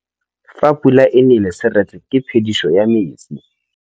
Fa pula e nelê serêtsê ke phêdisô ya metsi.